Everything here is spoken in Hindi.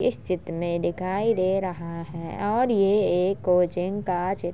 इस चित्र में दिखाई दे रहा हैं और ये एक कोचिंग का चित्र --